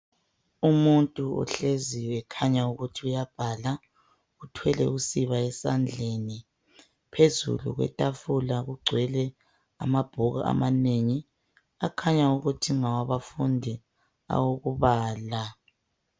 Umuntu ohlezi ekhanya ukuthi uyabhala uthwele usiba esandleni phezulu kwetafula kugcwele amabhuku amanengi akhanya ukuthi ngawabafundi awokubala